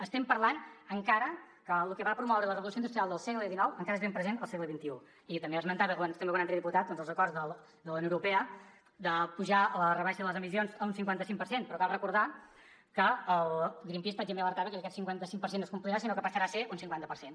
estem parlant encara que el que va promoure la revolució industrial del segle xix encara és ben present al segle i també esmentava algun altre diputat doncs els acords de la unió europea d’apujar la rebaixa de les emissions a un cinquanta cinc per cent però cal recordar que greenpeace per exemple ja alertava que aquest cinquanta cinc per cent no es complirà sinó que passarà a ser un cinquanta per cent